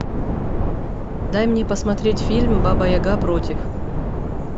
дай мне посмотреть фильм баба яга против